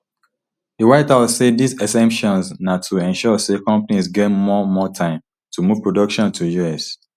di white house say dis exemptions na to ensure say companies get more more time to move production to us